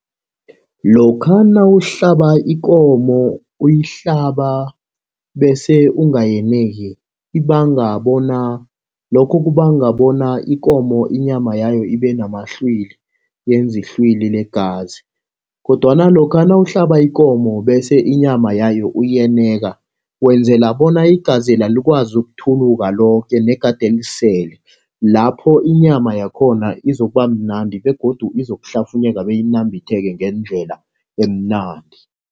Lokha nawuhlaba ikomo uyihlaba bese ungayeneki ibanga bona, lokho kubanga bona ikomo inyama yayo ibe namahlwili yenze ihlwili legazi. Kodwana lokha nawuhlaba ikomo, bese inyama yayo uyeneka, wenzela bona igazela likwazi ukuthuluka loke negade lisele. Lapho inyama yakhona izokuba mnandi begodu izokuhlafunyeka, beyinambitheke ngendlela emnandi.